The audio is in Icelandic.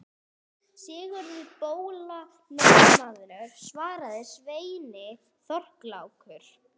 Sigurður bóla norðanmaður, svaraði sveinninn Þorlákur.